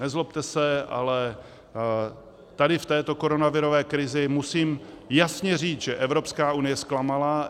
Nezlobte se, ale tady v této koronavirové krizi musím jasně říct, že Evropská unie zklamala.